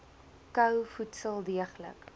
kou voedsel deeglik